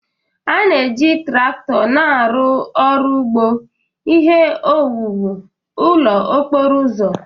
A na-eji traktọ na-arụ ọrụ ugbo, ihe owuwu, ụlọ okporo ụzọ